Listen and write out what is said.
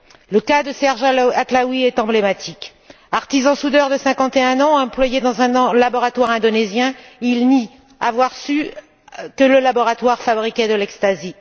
Le cas de Serge Atlaoui est emblématique. Artisan soudeur de 51 ans, employé dans un laboratoire indonésien, il nie avoir su que le laboratoire fabriquait de l'ecstasy.